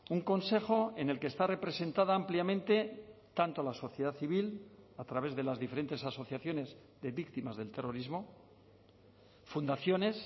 un consejo en el que está representada ampliamente tanto la sociedad civil a través de las diferentes asociaciones de víctimas del terrorismo fundaciones